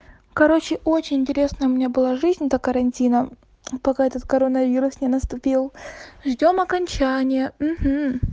короче очень интересная у меня была жизнь до карантина пока этот коронавирус не наступил ждём окончания ага